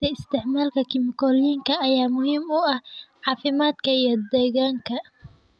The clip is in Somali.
Yaraynta isticmaalka kiimikooyinka ayaa muhiim u ah caafimaadka iyo deegaanka.